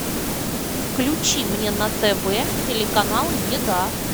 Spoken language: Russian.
включи мне на тв телеканал еда